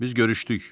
Biz görüşdük.